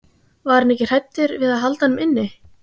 Var hann ekki hræddur við að halda honum inni?